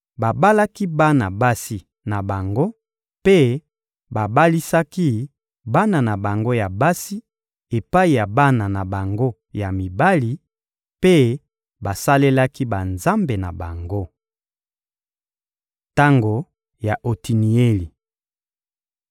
babalaki bana basi na bango mpe babalisaki bana na bango ya basi epai ya bana na bango ya mibali, mpe basalelaki banzambe na bango. Tango ya Otinieli